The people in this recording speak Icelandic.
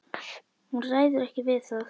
Hún ræður ekki við það.